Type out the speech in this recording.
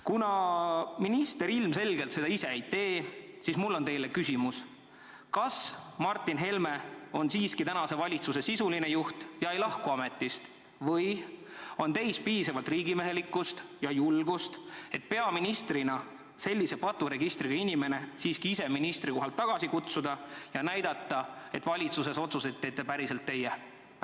Kuna minister seda ilmselgelt ise ei tee, siis on mul küsimus teile: kas Martin Helme on tänase valitsuse sisuline juht ja ei lahku ametist või on siiski teil piisavalt riigimehelikkust ja julgust, et peaministrina ise sellise paturegistriga inimene ministrikohalt tagasi kutsuda ja näidata, et valitsuses teete otsuseid päriselt teie?